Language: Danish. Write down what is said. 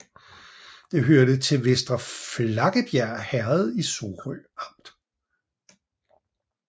Det hørte til Vester Flakkebjerg Herred i Sorø Amt